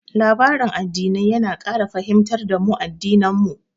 Labarin addinai yana ƙara fahimtar da mu addinan mu.